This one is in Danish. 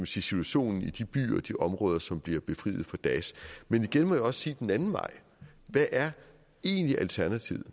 situationen i de byer og de områder som bliver befriet fra daesh men igen må jeg også spørge den anden vej hvad er egentlig alternativet